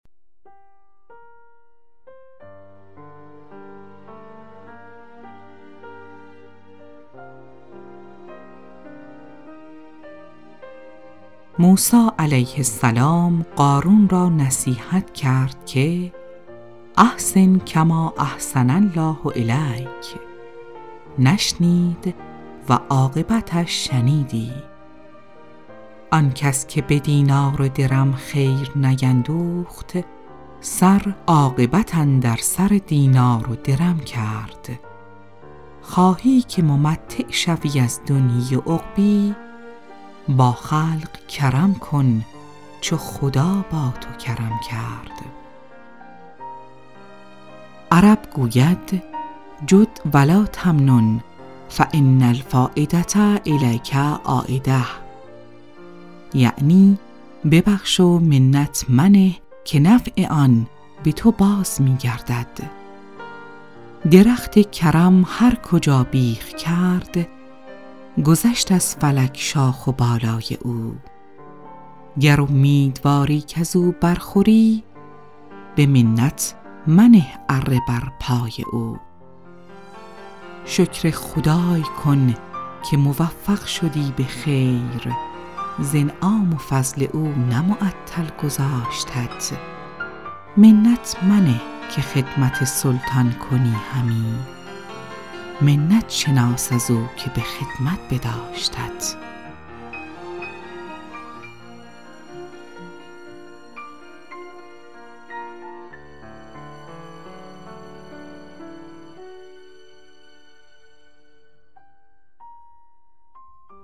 موسی علیه السلام قارون را نصیحت کرد که احسن کما احسن الله الیک نشنید و عاقبتش شنیدی آن کس که به دینار و درم خیر نیندوخت سر عاقبت اندر سر دینار و درم کرد خواهی که ممتع شوی از دنیا و عقبا با خلق کرم کن چو خدا با تو کرم کرد عرب گوید جد و لاتمنن فان الفایدة الیک عایدة یعنی ببخش و منت منه که نفع آن به تو باز می گردد درخت کرم هر کجا بیخ کرد گذشت از فلک شاخ و بالای او گر امیدواری کز او بر خوری به منت منه اره بر پای او شکر خدای کن که موفق شدی به خیر ز انعام و فضل او نه معطل گذاشتت منت منه که خدمت سلطان کنی همی منت شناس از او که به خدمت بداشتت